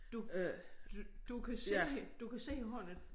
Du du kan se du kan se hvordan